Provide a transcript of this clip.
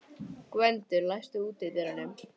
Gvöndur, læstu útidyrunum.